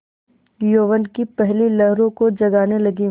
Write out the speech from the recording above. यौवन की पहली लहरों को जगाने लगी